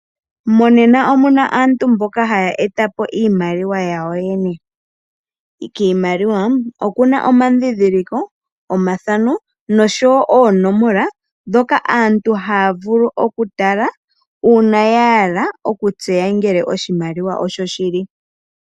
Monena omuna aantu mboka haya etapo iimaliwa yawo yene , kiimaliwa okuna omadhidhiliko, omathano noshowo oonomola dhoka aantu haya vulu oku tala uuna ya hala okutseya ngele oshimaliwa oshoshili.